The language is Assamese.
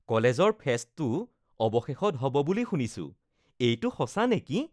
কলেজৰ ফেষ্টটো অৱশেষত হ’ব বুলি শুনিছোঁ৷ এইটো সঁচা নেকি?